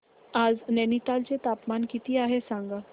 आज नैनीताल चे तापमान किती आहे सांगा